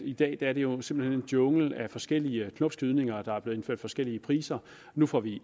i dag er det jo simpelt en jungle af forskellige knopskydninger og der er blevet indført forskellige priser nu får vi